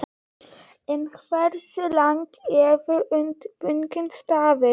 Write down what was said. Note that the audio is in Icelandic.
En hversu lengi hefur undirbúningurinn staðið?